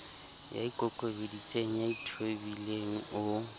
ya ikokobeditseng ya ithobileng o